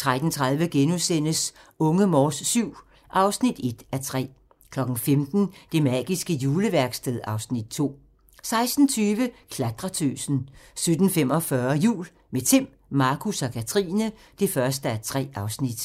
13:30: Unge Morse VII (1:3)* 15:00: Det magiske juleværksted (Afs. 2) 16:20: Klatretøsen 17:45: Jul - med Timm, Markus og Katrine (1:3)